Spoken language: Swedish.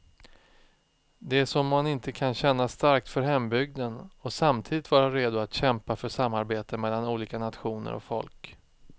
Det är som om man inte kan känna starkt för hembygden och samtidigt vara redo att kämpa för samarbete mellan olika nationer och folk.